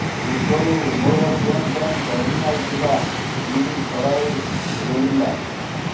ପୂର୍ବରୁ ଉଭୟ ଟ୍ରେନ୍ ପାଇଁ ଟର୍ମିନାଲ୍ ଥିଲା ଦିଲ୍ଲୀ ସରାଇ ରୋହିଲ୍ଲା